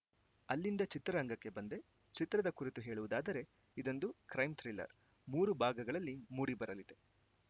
ಅಲ್ಲಿಂದ ಚಿತ್ರರಂಗಕ್ಕೆ ಬಂದೆ ಚಿತ್ರದ ಕುರಿತು ಹೇಳುವುದಾದರೆ ಇದೊಂದು ಕ್ರೈಮ್‌ ಥ್ರಿಲ್ಲರ್‌ ಮೂರು ಭಾಗಗಳಲ್ಲಿ ಮೂಡಿ ಬರಲಿದೆ